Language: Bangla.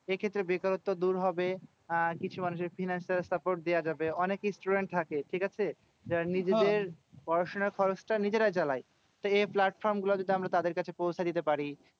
এক্ষেত্রে বেকারত্ব দূর হবে। আর কিছু মানুষের financial support দেওয়া যাবে। অনেক student থাকে, ঠিকাছে? যারা নিজেদের পড়াশোনার খরচটা নিজেরা চালায়। তা এ platform গুলো যদি আমরা তাদের কাছে পৌঁছে দিতে পারি,